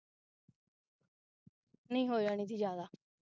ਨਹੀਂ ਹੋ ਜਾਣੀ ਸੀ ਜਾਂਦਾ